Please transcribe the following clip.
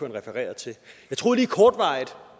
refererede til jeg troede lige kortvarigt